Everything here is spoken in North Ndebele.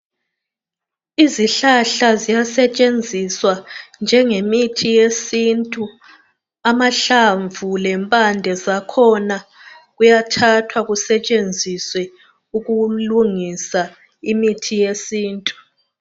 Izihlahla ziyasetshenziswa njengemithi yesintu. Amahlamvu lempande zakhona kuyathathwa kusetshenziswe ukulungisa imithi yesintu.